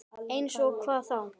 Eins og hvað þá?